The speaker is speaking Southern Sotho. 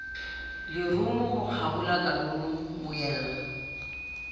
lerumo ho kgabola kanono moela